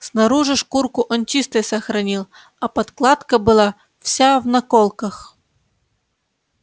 снаружи шкурку он чистой сохранил а подкладка была вся в наколках